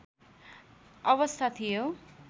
अवस्था थियो